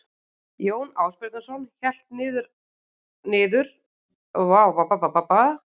Jón Ásbjarnarson hélt niður að hafi og gekk um fjörur fram í myrkur.